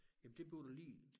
Jamen det bliver der lige